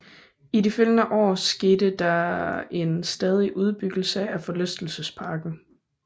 I de følgende år skete en stadig udbyggelse af forlystelsesparken